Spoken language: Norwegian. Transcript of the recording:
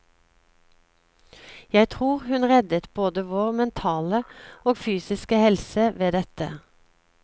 Jeg tror hun reddet både vår mentale og fysiske helse ved dette.